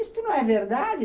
Isso não é verdade!